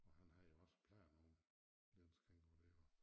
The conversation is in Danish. Og han havde jo også planer om Niels Kingo der at